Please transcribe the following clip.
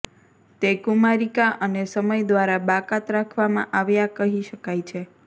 તે કુમારિકા અને સમય દ્વારા બાકાત રાખવામાં આવ્યાં કહી શકાય છે